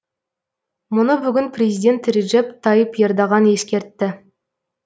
мұны бүгін президент реджеп тайып ердоған ескертті